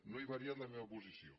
no he variat la meva posició